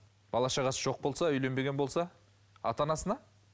бала шағасы жоқ болса үйленбеген болса ата анасына